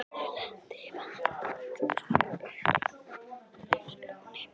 Þeir lenda í vandræðum eins og Skúli á Laxalóni.